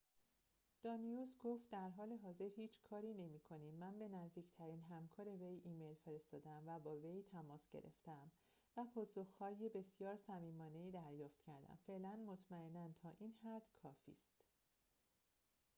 دانیوس گفت در حال حاضر هیچ کاری نمی‌کنیم من به نزدیکترین همکار وی ایمیل فرستاده‌ام و با وی تماس گرفته‌ام و پاسخ‌های بسیار صمیمانه‌ای دریافت کردم فعلاً مطمئناً تا این حد کافی است